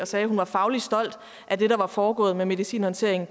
sagde at hun var fagligt stolt af det der var foregået med medicinhåndteringen